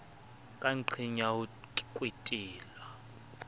ka nqeng ya ho kwetelwa